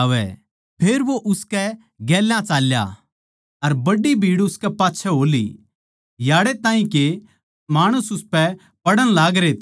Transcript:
फेर वो उसकै गेल्या चाल्या अर बड्डी भीड़ उसकै पाच्छै हो ली याड़ै ताहीं के माणस उसपै पड़ण लागरे थे